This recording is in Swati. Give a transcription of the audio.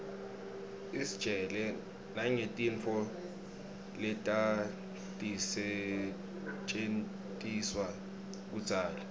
istjela nangetintfo letatisetjentiswa kudzala